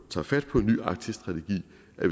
tager fat på en ny arktisk strategi